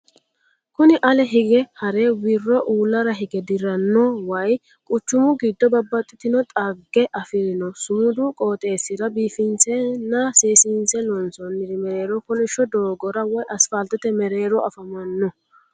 Kuni ale higge hare wirro uullara hige dirranni no way, quuchumu giddo babaxitinno xagge afirinno sumud qooxessira biifinsenna seesinse loonsonnir mereero kolishsho doogora woy asifaltete mereero afamanno.